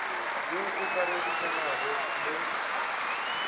yo o ka rerišanago le